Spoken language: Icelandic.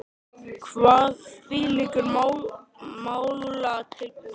Kvað þvílíkur málatilbúnaður vera nálega einstæður í réttarsögu landsins.